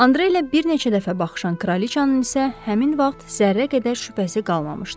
Andreylə bir neçə dəfə baxışan kraliçanın isə həmin vaxt zərrə qədər şübhəsi qalmamışdı.